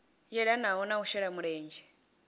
yelanaho na u shela mulenzhe